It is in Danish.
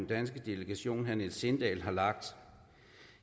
danske delegation herre niels sindal har lagt